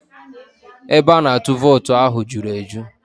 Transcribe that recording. Ebe a na-atụ vootu ahụ juru eju